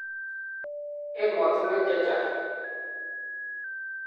emotinwek che chang